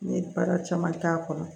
N ye baara caman k'a kɔnɔ